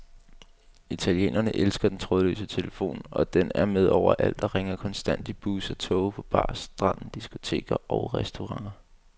Italienerne elsker den trådløse telefon, og den er med overalt og ringer konstant i busser, toge, på bar, stranden, diskoteker og restauranter.